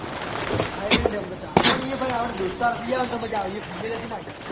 Thailand એમતો ચાલે પણ એ તો ભાઈ અપ્પને દોસ્ત જયી આવે ત ચાલે એ family થી ના જવાયે